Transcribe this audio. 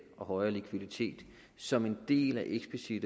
og højere likviditet som en del af eksplicitte